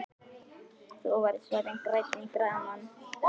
Þú varst orðinn grænn í framan.